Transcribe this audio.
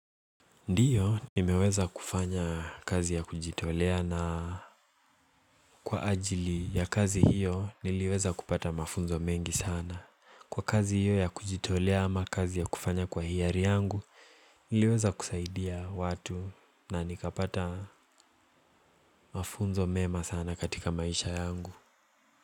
Ndio nimeweza kufanya kazi ya kujitolea na kwa ajili ya kazi hiyo niliweza kupata mafunzo mengi sana. Kwa kazi hiyo ya kujitolea ama kazi ya kufanya kwa hiari yangu niliweza kusaidia watu na nikapata mafunzo mema sana katika maisha yangu.